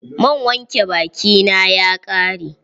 Man wanke baki na ya ƙare.